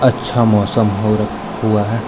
अच्छा मौसम हो र हुआ है।